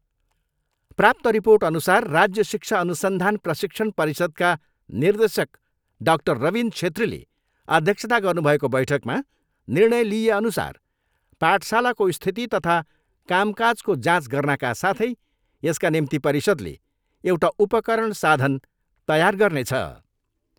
प्राप्त रिपोर्टअनुसार राज्य शिक्षा अनुसन्धान प्रशिक्षण परिषदका निर्देशक डाक्टर रबिन छेत्रीले अध्यक्षता गर्नुभएको बैठकमा निर्णय लिइएअनुसार पाठशालाको स्थिति तथा कामकाजको जाँच गर्नाका साथै यसका निम्ति परिषदले एउटा उपकरण साधन तयार गर्नेछ।